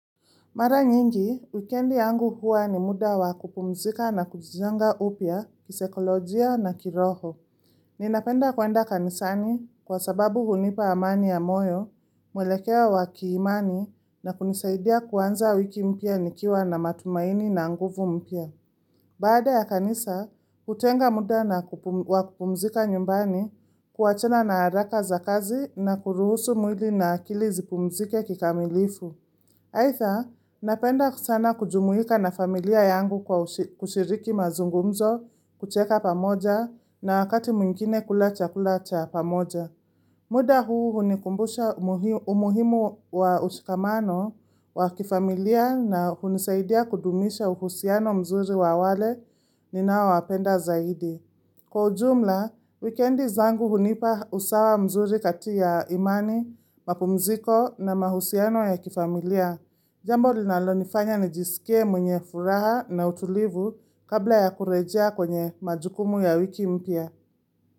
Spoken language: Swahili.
Mara nyingi, wikendi yangu huwa ni muda wa kupumzika na kujizanga upya kisaikolojia na kiroho. Ninapenda kuenda kanisani kwa sababu hunipa amani ya moyo, mwelekeo wakiimani na kunisaidia kuanza wiki mpya nikiwa na matumaini na nguvu mpya. Baada ya kanisa, utenga muda na wa kupumzika nyumbani kuachana na haraka za kazi na kuruhusu mwili na akili zipumzike kikamilifu. Aitha, napenda sana kujumuika na familia yangu kwa kushiriki mazungumzo, kucheka pamoja na wakati mwingine kula chakula cha pamoja. Muda huu hunikumbusha umuhimu wa ushikamano wa kifamilia na hunisaidia kudumisha uhusiano mzuri wa wale ninaowapenda zaidi. Kwa ujumla, weekendi zangu hunipa usawa mzuri katia imani, mapumziko na mahusiano ya kifamilia. Jambo linalo nifanya nijisikie mwenye furaha na utulivu kabla ya kurejea kwenye majukumu ya wiki mpya.